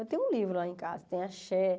Eu tenho um livro lá em casa, tem a Xé.